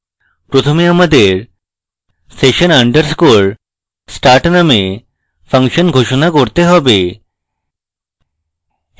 প্রথমে আমাদের session _ start নামক ফাংশন ঘোষণা করতে হবে